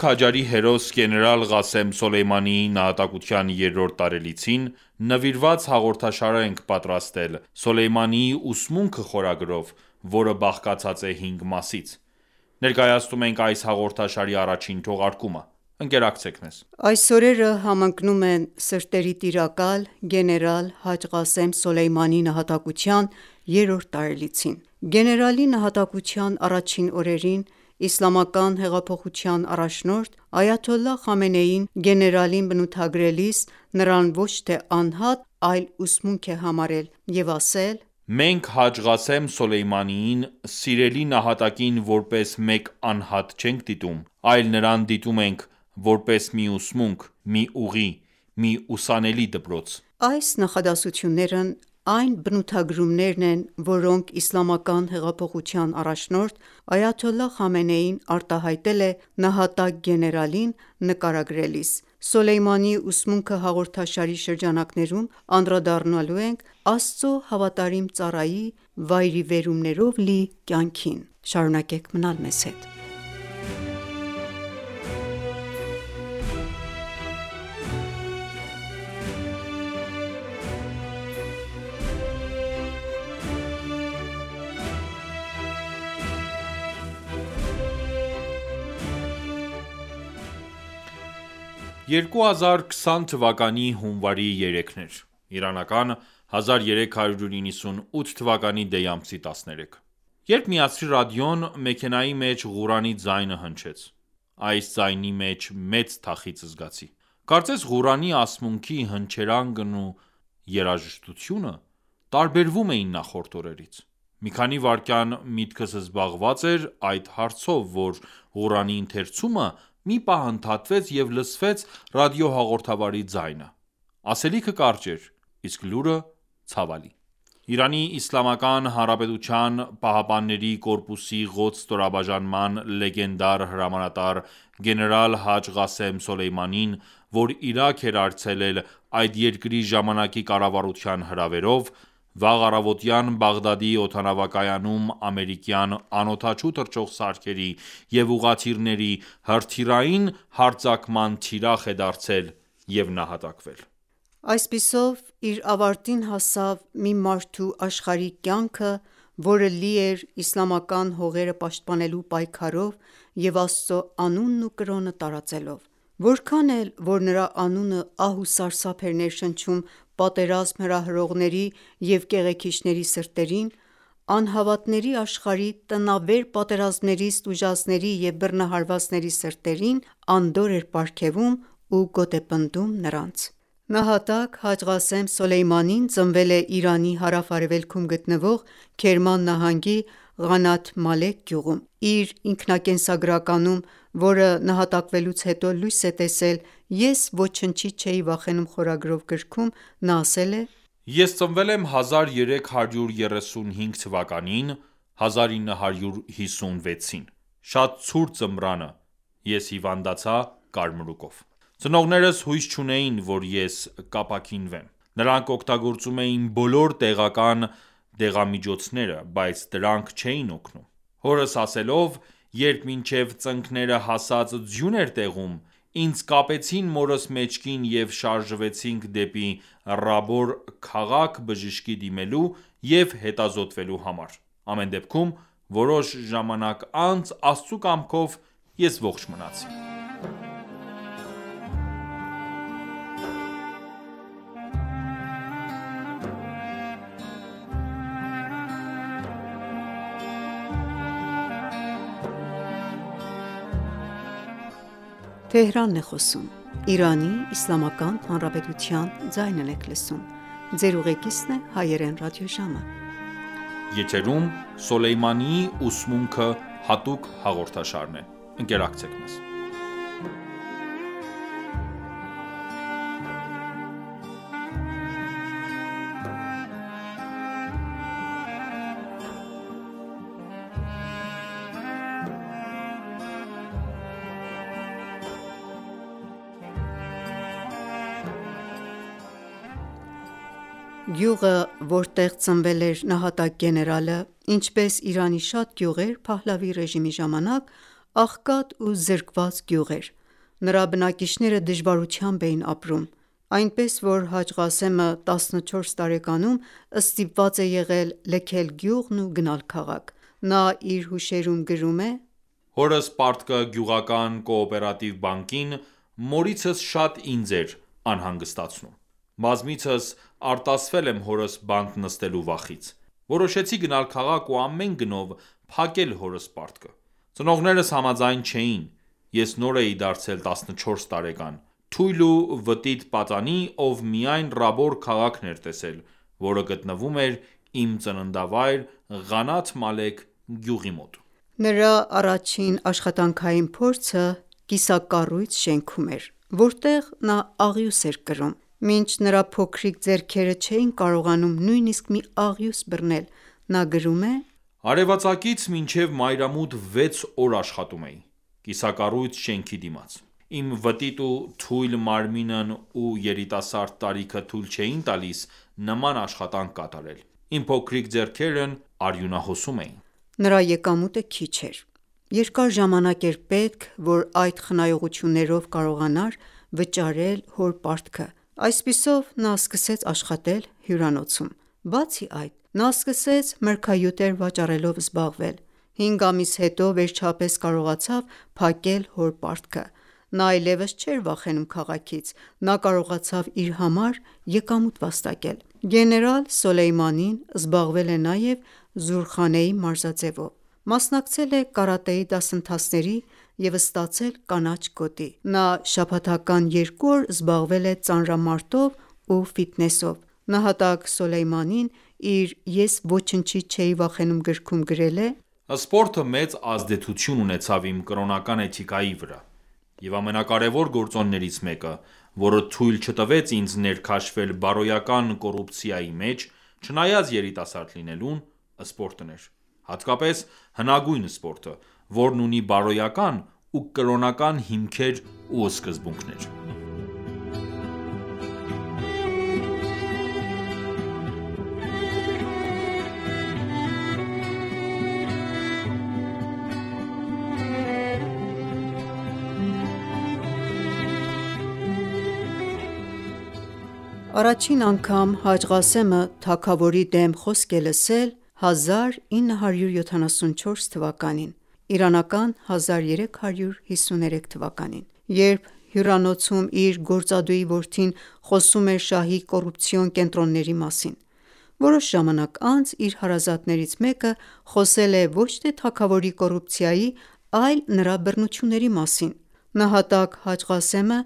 քաջարի հերոս գեներալ Ղասեմ Սոլեյմանիի նահատակության երրորդ տարելիցին նվիրված հաղորդաշար ենք պատրաստել «Սոլեյմանիի ուսմունքը» խորագրով, որը բաղկացած է հինգ մասից։ Ներկայացնում ենք այս հաղորդաշարի առաջին թողարկումը։ Ընկերակցեք մեզ։ Այս օրերը համընկնում են սրտերի տիրակալ՝ գեներալ Հաջ Ղասեմ Սոլեյմանիի նահատակության երրորդ տարելիցին։ Գեներալի նահատակության առաջին օրերին Իսլամական հեղափոխության առաջնորդ Այաթոլլահ Խամենեին գեներալին բնութագրելիս, նրան ոչ թե անհատ, այլ ուսմունք է համարել և ասել․- «Մենք Հաջ Ղասեմ Սոլեյմանիին, սիրելի նահատակին որպես մեկ անհատ չենք դիտում, այլ նրան դիտում ենք, որպես մի ուսմունք, մի ուղի, մի ուսանելի դպրոց»։ Այս նախադասությունները այն բնութագրումներն են, որոնք Իսլամական հեղափոխության առաջնորդ Այաթոլլահ Խամենեին արտահայտել է նահատակ գեներալին նկարագրելիս: «Սոլեյմանիի ուսմունքը» հաղորդաշարի շրջանակներում անդրադառնալու ենք Աստծո հավատարիմ ծառայի վայրիվերումներով լի կյանքին։ 2020 թվականի հունվարի 3-ն էր (Իրանական 1398 թվականի դեյ ամսի 13)։ Երբ միացրի ռադիոն, մեքենայի մեջ Ղուրանի ձայնը հնչեց։ Այս ձայնի մեջ մեծ թախիծ զգացի։ Կարծես Ղուրանի ասմունքի հնչերանգն ու երաժշտությունը տարբերվում էին նախորդ օրերից։ Մի քանի վայրկյան միտքս զբաղված էր այդ հարցով, որ, Ղուրանի ընթերցումը մի պահ ընդհատվեց և լսվեց ռադիոհաղորդավարի ձայնը։ Ասելիքը կարճ էր, իսկ լուրը՝ ցավալի։ Իրանի ԻՀՊԿ-ի «Ղոդս» ստորաբաժնման լեգենդար հրամանատար գեներալ Հաջ Ղասեմ Սոլեյմանին, որ Իրաք էր այցելել այդ երկրի ժամանակի կառավարության հրավերով, վաղ առավոտյան Բաղդադի օդանավակայանում ամերիկյան անօդաչու թռչող սարքերի և ուղղաթիռների հրթիռային հարձակման թիրախ է դարձել և նահատակվել։ Այդպիսով իր ավարտին հասավ մի մարդու աշխարհիկ կյանքը, որը լի էր իսլամական հողերը պաշտպանելու պայքարով և Աստծո անունն ու կրոնը տարածելով: Որքան էլ որ նրա անունը ահ ու սարսափ էր ներշնչում պատերազմ հրահրողների և կեղեքիչների սրտերին, անհավատների աշխարհի տնավեր պատերազմներից տուժածների և բռնահարվածների սրտերին անդորր էր պարգևում ու գոտեպնդում նրանց։ Նահատակ Հաջ Ղասեմ Սոլեյմանին ծնվել է Իրանի հարավ-արևելքում գտնվող Քերման նահանգի Ղանաթ Մալեք գյուղում: Իր ինքնակենսագրականում, որը նահատակվելուց հետո լույս է տեսել «Ես ոչնչից չէի վախենում» խորագրով, նա ասել է.«Ես ծնվել եմ 1335 թվականին (1956 թ.)։ Շատ ցուրտ ձմռանը ես հիվանդացա կարմրուկով։ Ծնողներս հույս չունեին, որ ես կապաքինվեմ։ Նրանք օգտագործում էին բոլոր տեղական դեղամիջոցները, բայց դրանք չէին օգնում։ Հորս ասելով, եռբ մինչև ծնկները հասած ձյուն էր տեղում, ինձ կապեցին մորս մեջքին և շարժվեցինք դեպի Ռաբոր քաղաք բժշկի դիմելու և հետազոտվելու համար։ Ամեն դեպքում, որոշ ժամանակ անց Աստծու կամքով ես ողջ մնացի»: Գյուղը, որտեղ ծնվել էր նահատակ գեներալը, ինչպես Իրանի շատ գյուղեր Փահլավիի ռեժիմի ժամանակ, աղքատ ու զրկված գյուղ էր։ Նրա բնակիչները դժվարությամբ էին ապրում։ Այնպես, որ Հաջ Ղասեմը 14 տարեկանում ստիպված է եղել լքել գյուղն ու գնալ քաղաք։ Նա իր հուշերում գրում է. «Հորս պարտքը գյուղական կոոպերատիվ բակին, մորիցս շատ ինձ էր անհանգստացնում։ Բազմիցս արտասվել եմ հորս բանտ նստելու վախից... Որոշեցի գնալ քաղաք ու ամեն գնով փակել հորս պարտքը։ Ծնողներս համաձայն չէին։ Ես նոր էի դարձել 14 տարեկան, թույլ ու վտիտ պատանի, ով միայն Ռաբոր քաղաքն էր տեսել, որը գտնվում էր իմ ծննդավայր Ղանաթ Մալեք գյուղի մոտ»։ Նրա առաջին աշխատանքային փորձը կիսակառույց շենքում էր, որտեղ աղյուս էր կրում: Մինչ նրա փոքրիկ ձեռքերը չէին կարողանում նույնիսկ մի աղյուս բռնել. Նա գրում է․«Արևածագից մինչև մայրամուտ վեց օր աշխատում էի, կիսակառույց շենքի դիմաց։ Իմ վտիտ ու թույլ մարմինն ու երիտասարդ տարիքը թույլ չէին տալիս նման աշխատանք կատարել։ Իմ փոքրիկ ձեռքերն արյունահոսում էին»։ Նրա եկամուտը քիչ էր։ Երկար ժամանակ էր պետք, որ այդ խնայողություններով կարողանա վճարել հոր պարտքը։ Այսպիսով, նա սկսեց աշխատել հյուրանոցում: Բացի այդ, նա սկսեց մրգահյութեր վաճառելով զբաղվել։ 5 ամիս հետո վերջապես կարողացավ փակել հոր պարտքը։ Նա այլեւս չէր վախենում քաղաքից։ Նա կարողացավ իր համար եկամուտ վաստակել։ Գեներալ Սոլեյմանին զբաղվել է նաև Զուրխանեի մարզաձևով։ Մասնակցել է կարատեի դասընթացների և ստացել կանաչ գոտի: Նա շաբաթական երկու օր զբաղվել է ծանրամարտով ու ֆիթնեսով։ Նահատակ Սոլեյմանին իր «Ես ոչնչից չէի վախենում» գրքում գրել է. «Սպորտը մեծ ազդեցություն ունեցավ իմ կրոնական էթիկայի վրա, և ամենակարևոր գործոններից մեկը, որը թույլ չտվեց ինձ ներքաշվել բարոյական կոռուպցիայի մեջ, չնայած երիտասարդ լինելուն, սպորտն էր: Հատկապես հնագույն սպորտը, որն ունի բարոյական ու կրոնական հիմքեր ու սկզբունքներ»։ Առաջին անգամ նա թագավորի դեմ խոսք է լսել 1353 թվականին (1974 թ.)։ Երբ հյուրանոցում իր գործատուի որդին խոսում էր շահի կոռուպցիոն կենտրոնների մասին։ Որոշ ժամանակ անց իր հարազատներից մեկը, խոսել է ոչ թե թագավորի կոռուպցիայի, այլ նրա բռնությունների մասին։ Նահատակ Հաջ Ղասեմը